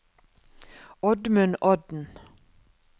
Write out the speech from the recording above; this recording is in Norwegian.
Oddmund Odden